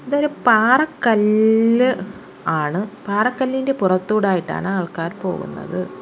ഇതൊരു പാറ കല്ല് ആണ് പാറക്കല്ലിൻ്റെ പുറത്തൂടായിട്ടാണ് ആൾക്കാർ പോകുന്നത്.